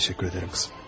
Təşəkkür edirəm, qızım.